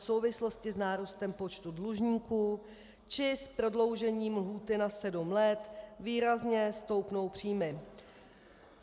V souvislosti s nárůstem počtu dlužníků či s prodloužením lhůty na sedm let výrazně stoupnou příjmy.